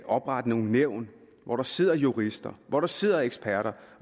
oprette nogle nævn hvor der sidder jurister hvor der sidder eksperter